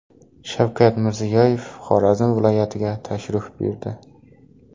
Shavkat Mirziyoyev Xorazm viloyatiga tashrif buyurdi.